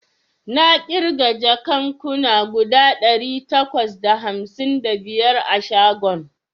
Na ƙirga jakan kuna guda ɗari takwas da hamsin da biyar a shagon